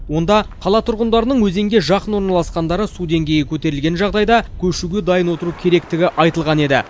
онда қала тұрғындарының өзенге жақын орналасқандары су деңгейі көтерілген жағдайда көшуге дайын отыру керектігі айтылған еді